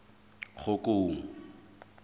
kgokong